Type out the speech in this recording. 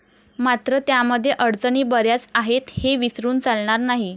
मात्र त्यामध्ये अडचणी बऱ्याच आहेत हे विसरून चालणार नाही.